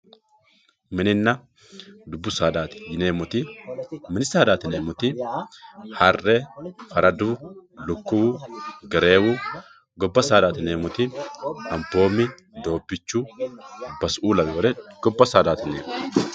mininna dubbu saadaati yineemmoti mini saadaati yineemmoti harre faradu lukkuwu gereewu gobba saadaati yineemmoti anboomi doobbichu basu"uu lawewoore gobba saadaati yineemmo.